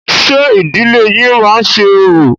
Ṣé ìdílé yín má ń ṣe orò?